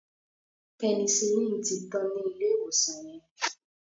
Penicillin tí tán ní ilé ìwòsan yen.